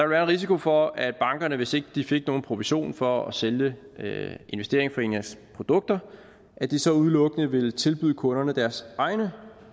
være en risiko for at bankerne hvis ikke de fik nogen provision for at sælge investeringsforeningernes produkter så udelukkende ville tilbyde kunderne deres egne